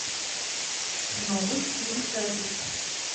новый стиль запись